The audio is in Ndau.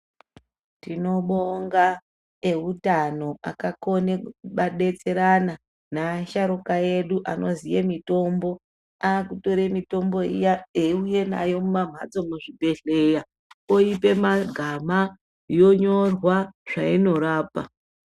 Tinobonga eutano akakone kudetserana ne asharuka edu anoziye mitombo akutore mitombo iya eiuye nayo mu ma mhatso mu zvibhedhlera oipe ma gaba yonyorwa zvainorapa.